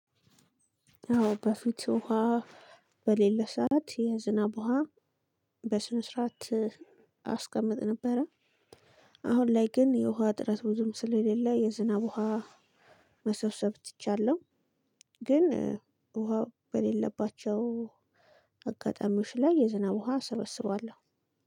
አዎ በፊት ወሃ በሌለ ሰዓት የዝናብ ወሃ በስነስርዓት አስቀምጥ ነበረ። አሁን ላይ ግን የውሃ እጥረት ቡዙም ስለሌለ የዝናብ ውሃ መሰብሰብ ትቻለሁ። ግን ውሃው በሌለባቸው አጋጣሚዎች ላይ የዝናብ ውሃ ሰበስቧለሁ።